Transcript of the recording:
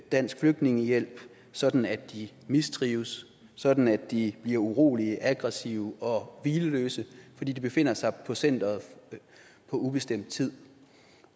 dansk flygtningehjælp sådan at de mistrives sådan at de bliver urolige aggressive og hvileløse fordi de befinder sig på centeret på ubestemt tid